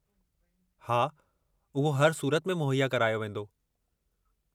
हा, उहो हर सूरत में मुहैया करायो वींदो।